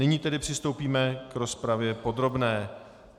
Nyní tedy přistoupíme k rozpravě podrobné.